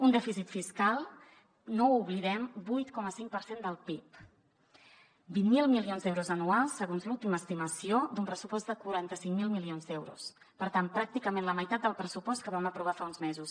un dèficit fiscal no ho oblidem vuit coma cinc per cent del pib vint miler milions d’euros anuals segons l’última estimació d’un pressupost de quaranta cinc mil milions d’euros per tant pràcticament la meitat del pressupost que vam aprovar fa uns mesos